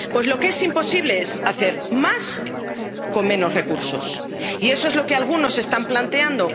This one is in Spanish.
mesa. Bueno, pues lo que es imposible es hacer más con menos recursos. Y eso es lo que algunos están planteando.